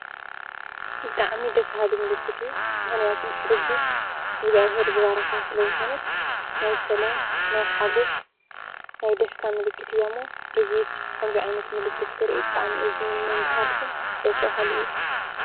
ብጣዕሚ ደስ በሃሊ ምልክት እዩ። ምኽንያቱ ርግቢት እግዝኣብሄር ዝባረኻ ስለዝኾነት ናይ ሰላም፣ ናይ ሓጎስ ፣ ናይ ደስታ ምልክት እያ እሞ ከምዙይ ዓይነት ምልክት ክርኢ ብጣዕሚ እየ ዝምነን ዝሃርፍን ባጣዕሚ ደስ በሃሊ እዩ።